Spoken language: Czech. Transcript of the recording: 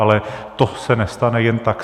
Ale to se nestane jen tak.